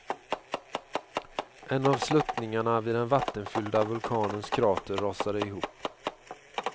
En av sluttningarna vid den vattenfyllda vulkanens krater rasade ihop.